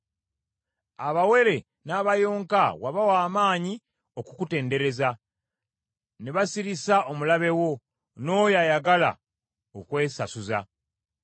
Abaana abato n’abawere wabawa amaanyi okukutendereza; ne basirisa omulabe wo n’oyo ayagala okwesasuza.